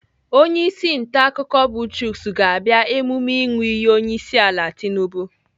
Onyeisi ntaakụkọ bụ Chuks ga-abịa emume ịṅụ iyi onyeisiala Tinubu.